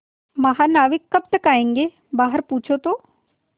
महानाविक कब तक आयेंगे बाहर पूछो तो